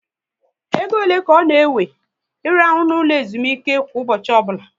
Égo ole ka ọ na ewe I rahụ na ụlọ ezumike kwa ụbọchị ọbụla?